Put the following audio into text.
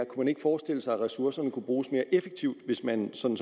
kunne forestille sig at ressourcerne kunne bruges mere effektivt hvis man som